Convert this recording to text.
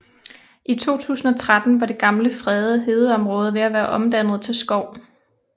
I 2013 var det gamle fredede hedeområde ved at være omdannet til skov